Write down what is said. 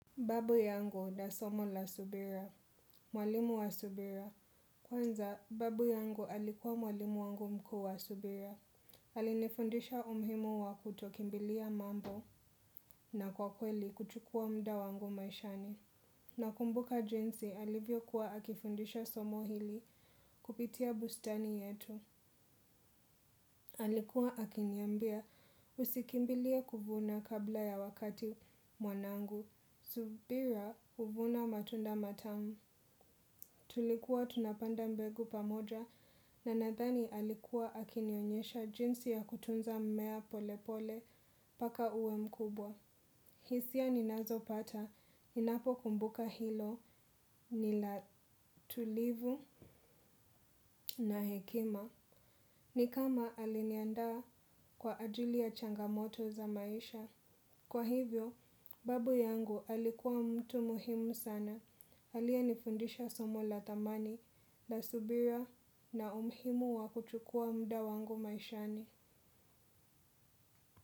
Babu yangu na somo la subira. Mwalimu wa subira. Kwanza, babu yangu alikuwa mwalimu wangu mkuu wa subira. Alinifundisha umuhimu wa kutokimbilia mambo na kwa kweli kuchukua mda wangu maishani. Nakumbuka jinsi alivyokuwa akifundisha somo hili kupitia bustani yetu. Alikuwa akiniambia, usikimbilie kuvuna kabla ya wakati mwanangu. Subira huvuna matunda matamu. Tulikuwa tunapanda mbegu pamoja na nadhani alikuwa akinionyesha jinsi ya kutunza mmea pole pole mpaka uwe mkubwa. Hisia ninazopata, ninapokumbuka hilo, ni la tulivu na hekima. Ni kama aliniandaa kwa ajili ya changamoto za maisha. Kwa hivyo, babu yangu alikuwa mtu muhimu sana. Aliyenifundisha somo la thamani na subira na umuhimu wa kuchukua mda wangu maishani.